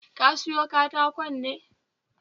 Ka siyo katakon ne?